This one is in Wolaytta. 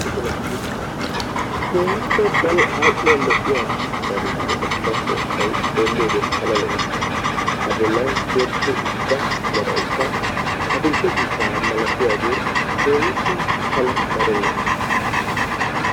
Keehippe daro ali"io lo"iyaa miishshan keexxettida keettay xeelliyoode pala lo"ees. A boollan tiyyettida uuttida meraykka adi"le ciishshaa malatiyaagee keehippe tana lo"ees.